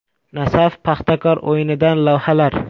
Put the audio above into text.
“Nasaf-Paxtakor” o‘yinidan lavhalar.